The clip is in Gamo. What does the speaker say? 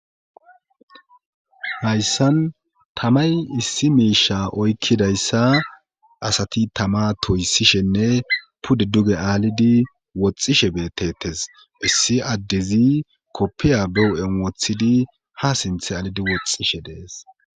hayssan tamay issi miisha oykkidayssa asati tama toysishenne pudde duge aalidi woxxishe beetetes issi addezi koppiya be hu'en wothidi ha sinthe aalidi woxxishe de'es